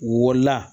W wolola